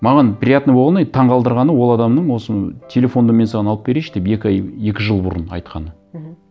маған приятно болғаны и таңғалдырғаны ол адамның осы телефонды мен саған алып берейінші деп екі ай екі жыл бұрын айтқаны мхм